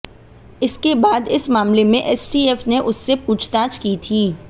इसके बाद इस मामले में एसटीएफ ने उससे पूछताछ की थी